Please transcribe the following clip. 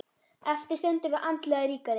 Eftir stöndum við andlega ríkari.